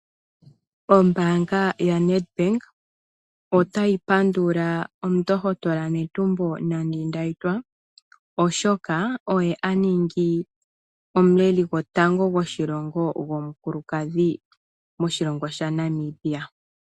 Ombaanga yo-Nedbank, ota yi pandula omundohotola Netumbo Nandi-Ndaitwah, oshoka oye aningi omuleli gwoshilongo gwotango gwomukulukadhi moshilongo shaNamibia.